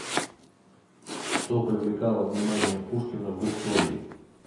что привлекало внимание пушкина в истории